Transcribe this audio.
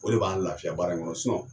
O de b'an lafiya baara in kɔnɔ sinɔn